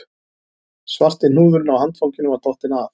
Svarti hnúðurinn á handfanginu var dottinn af